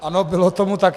Ano, bylo tomu tak.